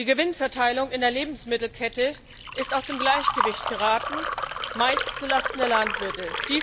Die Gewinnverteilung in der Lebensmittelkette ist aus dem Gleichgewicht geraten, meist zulasten der Landwirte.